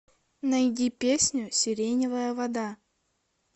найди песню сиреневая вода